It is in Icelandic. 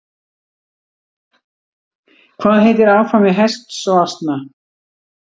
Hvað heitir afkvæmi hests og asna?